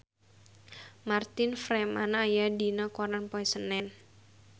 Martin Freeman aya dina koran poe Senen